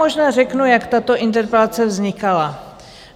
Možná řeknu, jak tato interpelace vznikala.